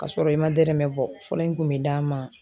Ka sɔrɔ i ma dɛrɛmɛ bɔ fura in in kun mi d'a ma.